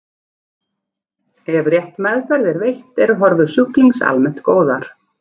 Ef rétt meðferð er veitt eru horfur sjúklinga almennt góðar.